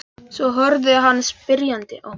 Svo horfði hann spyrjandi á mig.